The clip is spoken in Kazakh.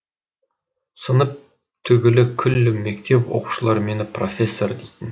сынып түгілі күллі мектеп оқушылары мені профессор дейтін